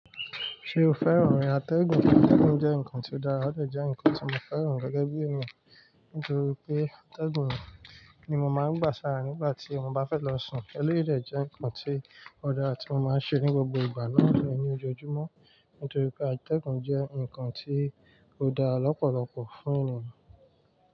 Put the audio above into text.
Ṣé o fẹ́ràn àtẹ̀gùn? Àtẹ̀gùn jẹ́ nǹkan tí ó dára, ó jẹ́ nǹkan tí mo fẹ́ràn gẹ́gẹ́ bí èmi nítorí pé àtẹ̀gùn ni mo máa ń gbà sára nígbà tí mo bá fẹ́ lọ sùn. Eléyìí dẹ̀ jẹ́ nǹkan tí ó dára tí mo máa ń ṣe ní gbogbo ìgbà náà lọ ní ojoojúmọ́ nítorí pé àtẹ̀gùn jẹ́ nǹkan tí ó dára lọ́pọ̀lọpọ̀ fún ènìyàn.